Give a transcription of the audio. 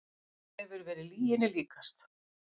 Hefur verið lyginni líkast